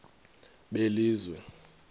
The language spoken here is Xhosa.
belizwe